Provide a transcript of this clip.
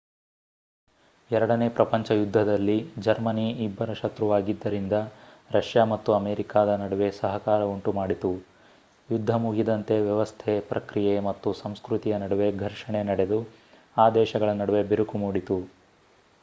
ಎರಡನೇ ಪ್ರಪಂಚ ಯುದ್ಧದಲ್ಲಿ ಜರ್ಮನಿ ಇಬ್ಬರ ಶತ್ರುವಾಗಿದ್ದರಿಂದ ರಷ್ಯಾ ಮತ್ತು ಅಮೇರಿಕಾದ ನಡುವೆ ಸಹಕಾರ ಉಂಟುಮಾಡಿತು ಯುದ್ಧ ಮುಗಿದಂತೆ ವ್ಯವಸ್ಥೆ ಪ್ರಕ್ರಿಯೆ ಮತ್ತು ಸಂಸ್ಕೃತಿಯ ನಡುವೆ ಘರ್ಷಣೆ ನಡೆದು ಆ ದೇಶಗಳ ನಡುವೆ ಬಿರುಕು ಮೂಡಿತು